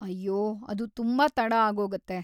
ಅಯ್ಯೋ, ಅದು ತುಂಬಾ ತಡ ಆಗೋಗತ್ತೆ.